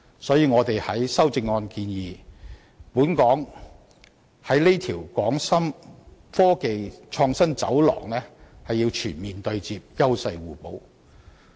所以，我在修正案中建議本港要與這條"廣深科技創新走廊"全面對接，優勢互補。